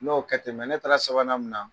N'o kɛ ten ne taara sabanan mun na